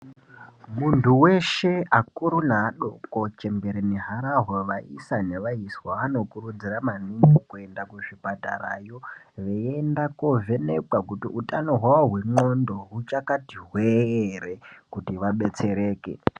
muntu weshe akuru neadoko, neharhwa vaisa nevaiswa vanokurudzirwa maniningi kuenda kuzvipatarayo kutariswa kuti utano hwavo hwendxondo huchakati hwee ere kuti vabetsereke.